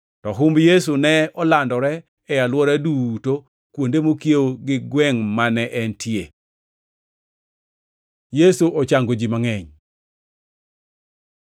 To humb Yesu ne olandore e alwora duto kuonde mokiewo gi gwengʼ mane entie. Yesu ochango ji mangʼeny